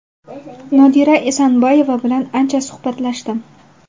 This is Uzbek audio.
Nodira Esanboyeva bilan ancha suhbatlashdim.